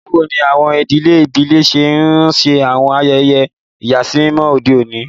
Báwo ni àwọn ìdílé ìbílẹ̀ ṣe ń ṣe àwọn ayẹyẹ ìyàsímímọ́ ọmọdé?